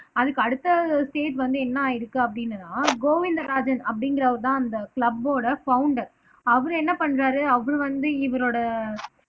அதுக்கு அடுத்த ஸ்டேட் வந்து என்ன ஆயிருக்கு அப்படின்னா கோவிந்தராஜன் அப்படிங்கிறவர்தான் அந்த க்ளபோட ப்ஹௌண்டர் அவரு என்ன பண்றாரு அவரு வந்து இவரோட